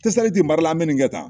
Tesaliti mara la bɛ nin kɛ tan